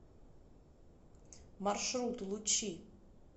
маршрут лучи